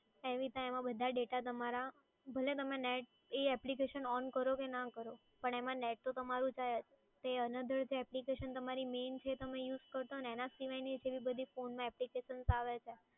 એમાં બધા data તમારા ભલે તમે net એ application on કરો કે ના કરો net તો તમારું જાય જ એ another application તમારી main જે તમે use કરતાં હોય એના સિવાયની phone માં applications આવે છે.